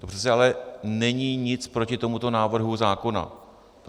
To přece ale není nic proti tomuto návrhu zákona.